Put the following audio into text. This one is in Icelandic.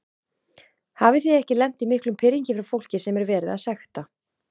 Hafið þið ekki lent í miklum pirringi frá fólki sem er verið að sekta?